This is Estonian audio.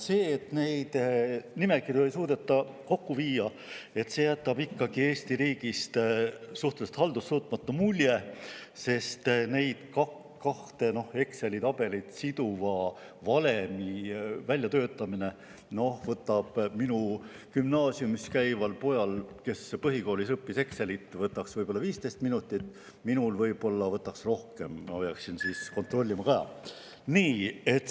See, et neid nimekirju ei suudeta kokku viia, jätab Eesti riigist suhteliselt haldussuutmatu mulje, sest kahte Exceli tabelit siduva valemi väljatöötamine võtaks minu gümnaasiumis käival pojal, kes põhikoolis õppis Excelit, ehk 15 minutit, minul võtaks see võib-olla rohkem aega, sest ma peaksin siis kontrollima ka.